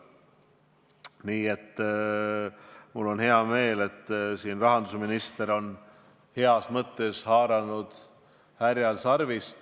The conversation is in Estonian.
Nii et mul on hea meel, et rahandusminister on heas mõttes haaranud härjal sarvist.